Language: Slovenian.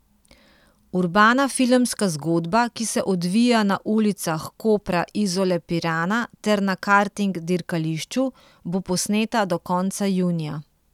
Urbana filmska zgodba, ki se odvija na ulicah Kopra, Izole, Pirana ter na karting dirkališču, bo posneta do konca junija.